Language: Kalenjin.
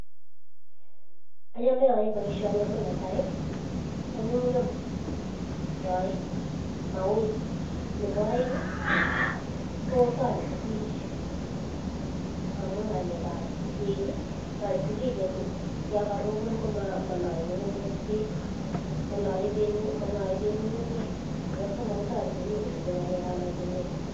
Achamee aaee paishani amuu neetai ko nyumnyum mauu nebo aeng kotareti bich amuu ngalek ab bek tareti bich yakarobon komalae bek ngungunyek nebo somok kotareti bich koribe ngalek ab mazingira